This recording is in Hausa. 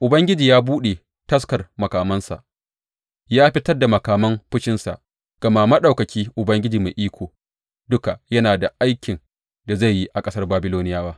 Ubangiji ya buɗe taskar makamansa ya fitar da makaman fushinsa, gama Maɗaukaki Ubangiji Mai Iko Duka yana da aikin da zai yi a ƙasar Babiloniyawa.